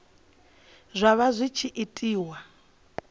zwa vha zwi tshi itiwa